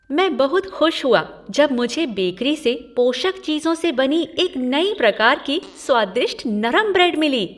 मैं बहुत खुश हुआ जब मुझे बेकरी से पोषक चीज़ों से बनी एक नई प्रकार की स्वादिष्ट नरम ब्रेड मिली।